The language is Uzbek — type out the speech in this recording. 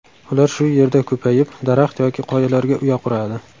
Ular shu yerda ko‘payib, daraxt yoki qoyalarga uya quradi.